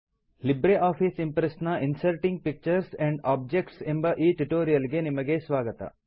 Libre Office Impress ನ inserting pictures and objects ಎಂಬ ಈ ಟ್ಯುಟೋರಿಯಲ್ ಗೆ ನಿಮಗೆ ಸ್ವಾಗತ